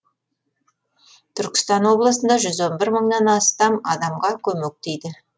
түркістан облысында жүз он бір мыңнан астам адамға көмек тиді